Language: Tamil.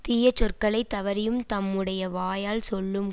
தீய சொற்களை தவறியும் தம்முடைய வாயால் சொல்லும்